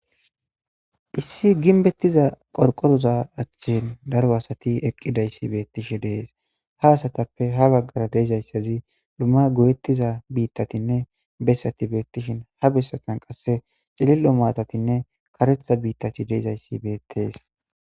Issi gimbbetiza qorqqoraza achchan daro asati eqidayss beetishe de7eees. Ha asatappe ha baggara de7iza asazi dumma go7etiza biitatinne besati beetishin ha besatan qasse cililo maatanne kareththa biitati dizayasi beetees.